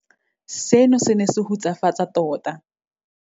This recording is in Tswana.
Seno se ne se hutsafatsa tota.